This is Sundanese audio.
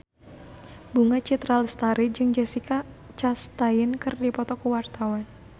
Bunga Citra Lestari jeung Jessica Chastain keur dipoto ku wartawan